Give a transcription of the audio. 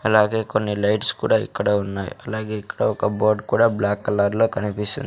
అలాగే కొన్ని లైట్స్ కూడా ఇక్కడ ఉన్నాయి అలాగే ఇక్కడ ఒక బోర్డు కూడా బ్లాక్ కలర్ లో కనిపిస్తుంది.